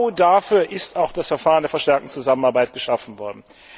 Genau dafür ist das Verfahren der verstärkten Zusammenarbeit geschaffen worden.